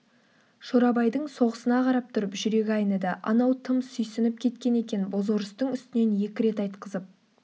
шорабайдың соғысына қарап тұрып жүрегі айныды анау тым сүйсініп кеткен екен бозорыстың үстінен екі рет айтқызып